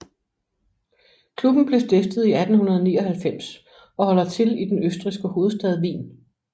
Klubben blev stiftet i 1899 og holder til i den østrigske hovedstad Wien